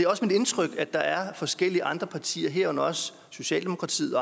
også mit indtryk at der er forskellige andre partier herunder socialdemokratiet